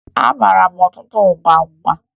Amara m ọtụtụ agwụgwa